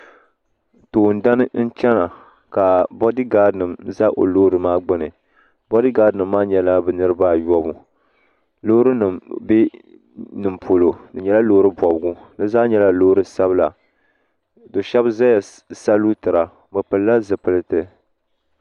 Toondana n chana ka boad gad nim ʒa o lɔɔri maa gbuni boadgad nim maa nyɛla bɛ niribi a yobu lɔɔrinim bɛ nin polɔ. di nyɛla lɔɔri bɔbigu. bɛ zaa nyɛla lɔɔri sabila.do shabi zaya n salutira bi pilila zi pilit